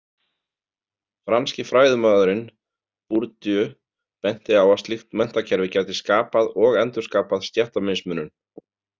Franski fræðimaðurinn Bourdieu benti á að slíkt menntakerfi gæti skapað og endurskapað stéttamismunun.